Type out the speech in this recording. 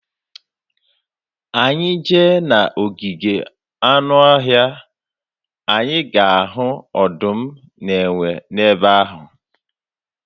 Anyị jee na ogige anụọhịa, anyị ga-ahụ ọdụm na enwe n'ebe ahụ.